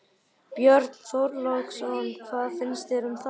Björn Þorláksson: Hvað finnst þér um það?